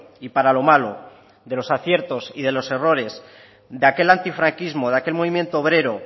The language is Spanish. y para lo malo de los aciertos y de los errores de aquel antifranquismo de aquel movimiento obrero